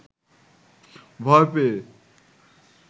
ভয় পেয়ে